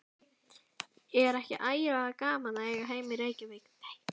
Er ekki ægilega gaman að eiga heima í Reykjavík?